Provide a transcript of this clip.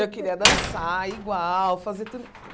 Eu queria dançar igual, fazer tudo.